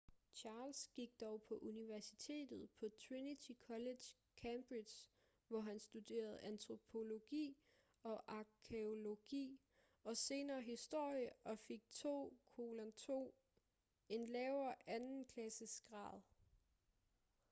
charles gik dog på universitetet på trinity college cambridge hvor han studerede antropologi og arkæologi og senere historie og fik en 2:2 en lavere andenklassesgrad